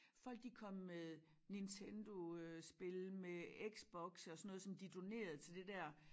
Folk de kom med Nintendo øh spil med X-boxe og sådan noget som de donerede til det dér